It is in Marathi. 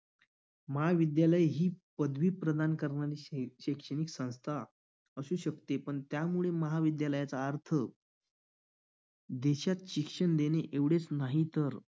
महाविद्यालय ही पदवी प्रदान करणारी शैक्षणिक संस्था असू शकते पण त्यामुळे महाविद्यालयाचा अर्थ देशात शिक्षण देणे एवढेच नाही तर